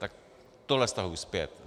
Tak tohle stahuji zpět.